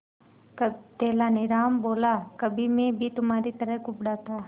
तेनालीराम बोला कभी मैं भी तुम्हारी तरह कुबड़ा था